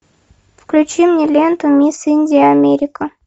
включи мне ленту мисс индия америка